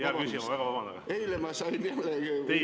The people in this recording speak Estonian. Hea küsija, ma väga vabandan, teie aeg!